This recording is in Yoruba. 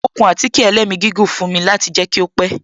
Ó kun àtíkè ẹlẹ́migígùn fún mi láti jẹ kí ó pẹ́